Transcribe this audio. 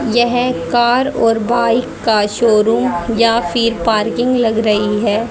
यह कार और बाइक का शोरूम या फिर पार्किंग लग रही है।